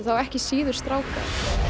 þá ekki síður stráka